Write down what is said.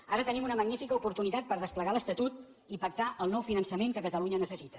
ara tenim una magnífica oportunitat per desplegar l’estatut i pactar el nou finançament que catalunya necessita